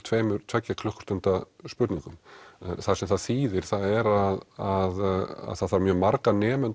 tvær tveggja klukkustunda spurningum það sem það þýðir það er að það þarf mjög marg nemendur